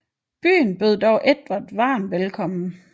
Byen bød dog Edvard varmt velkommen